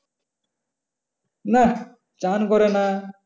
না চ্যান করে না।